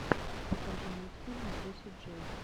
покажи мультфильм джесси джей